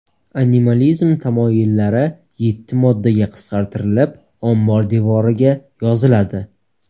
Animalizm tamoyillari yetti moddaga qisqartirilib, ombor devoriga yoziladi.